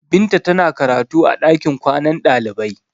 Binta tana karatu a ɗakin kwanan ɗalibai.